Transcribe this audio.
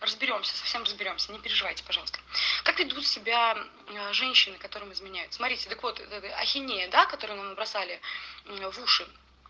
разберёмся со всем разберёмся не переживайте пожалуйста как ведут себя ээ женщины которым изменяют смотрите так вот эта ахинея которую нам бросали в уши